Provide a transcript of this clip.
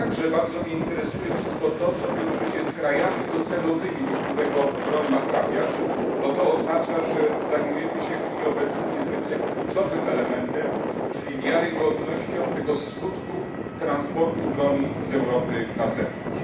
Bardzo mnie także interesuje wszystko to, co wiąże się z krajami docelowymi, do których ma trafiać broń, bo to oznacza, że zajmujemy się w chwili obecnej niezwykle kluczowym elementem, czyli wiarygodnością tego skutku transportu broni z Europy na zewnątrz.